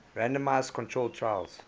randomized controlled trials